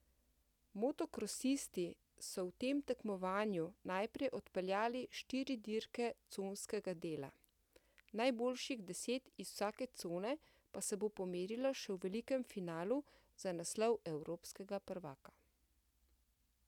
Motokrosisti so v tem tekmovanju najprej odpeljali štiri dirke conskega dela, najboljših deset iz vsake cone pa se bo pomerilo še v velikem finalu za naslov evropskega prvaka.